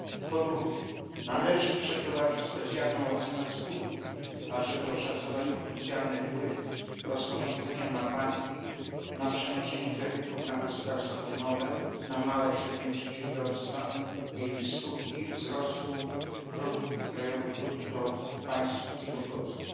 Po drugie, należy przeprowadzić specjalną ocenę skutków, aby oszacować potencjalny wpływ rozporządzenia na banki, na przenoszenie kredytów, na gospodarstwa domowe, na małe i średnie przedsiębiorstwa i skutki wzrostu produktu krajowego brutto państw członkowskich.